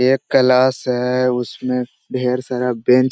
ये एक क्लास है उसमें ढेर सारा बेंच --